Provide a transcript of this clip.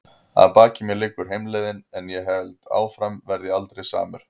Að baki mér liggur heimleiðin- en ef ég held áfram verð ég aldrei samur.